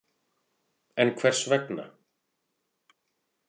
En hvers vegna?